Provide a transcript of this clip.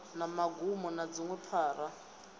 na magumo na dziṅwe phara